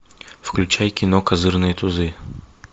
включай кино козырные тузы